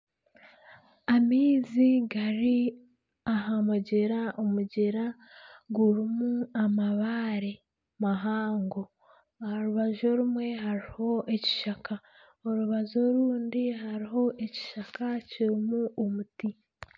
Amaizi gari aha mugyera. Omugyera gurimu amabaare mahaango. Aha rubaju orumwe hariho ekishaka, orubaju orundi hariho ekishaka kirimu omuti.